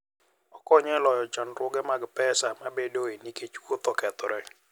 Okonyo e loyo chandruok mag pesa mabedoe nikech wuoth okethore.